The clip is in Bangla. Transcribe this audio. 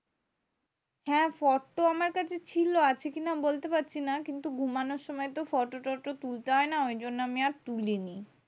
হ্যাঁ photo আমার কাছে ছিল। আছে কি না বলতে পারছি না? কিন্তু ঘুমানোর সময় তো photo টটো তুলতে হয় না। ঐজন্য আমি আর তুলিনি।